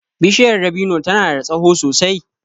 Bishiyar dabino ta na da tsaho sosai